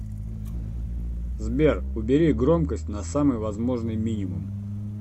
сбер убери громкость на самый возможный мининум